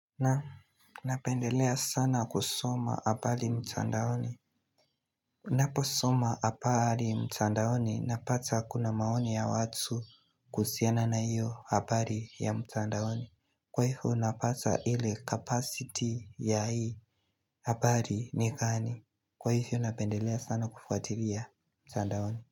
Na, napendelea sana kusoma hapari mtandaoni. Naposoma hapari mtandaoni, napata kuna maoni ya watu kusiana na iyo hapari ya mtandaoni. Kwa hivyo, napata ile capacity ya hii hapari ni gani. Kwa hivyo, napendelea sana kufuatiria mtandaoni.